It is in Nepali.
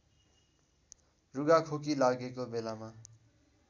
रुघाखोकी लागेको बेलामा